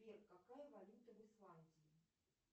сбер какая валюта в исландии